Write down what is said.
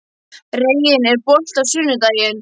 Reginn, er bolti á sunnudaginn?